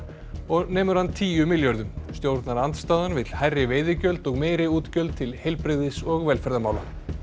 og nemur hann tíu milljörðum stjórnarandstaðan vill hærri veiðigjöld og meiri útgjöld til heilbrigðis og velferðarmála